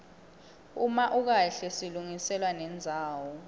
uma ukahle silungiselwa nendzawo